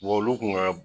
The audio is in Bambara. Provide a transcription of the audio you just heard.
olu kun ka